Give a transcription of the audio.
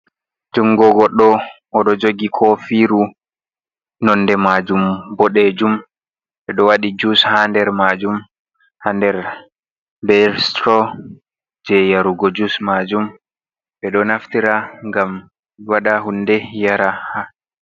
Jungo goɗɗo "oɗo jogi kofiru nonde majum boɗejum. Ɓeɗo waɗi jus ha nder majum, ha nder be suturo je yarugo jus majum. Ɓeɗo naftira ngam waɗa hunde yara.